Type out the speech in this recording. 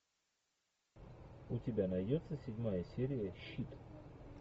у тебя найдется седьмая серия щит